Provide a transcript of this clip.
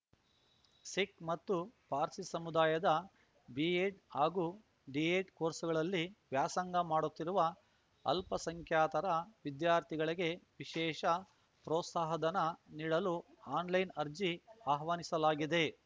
ಸಿಖ್‌ ಮತ್ತು ಪಾರ್ಸಿ ಸಮುದಾಯದ ಬಿಎಡ್ ಹಾಗೂ ಡಿಎಡ್ ಕೋರ್ಸ್‌ಗಳಲ್ಲಿ ವ್ಯಾಸಂಗ ಮಾಡುತ್ತಿರುವ ಅಲ್ಪಸಂಖ್ಯಾತರ ವಿದ್ಯಾರ್ಥಿಗಳಿಗೆ ವಿಶೇಷ ಪ್ರೋತ್ಸಾಹಧನ ನೀಡಲು ಆನ್‌ಲೈನ್‌ ಅರ್ಜಿ ಆಹ್ವಾನಿಸಲಾಗಿದೆ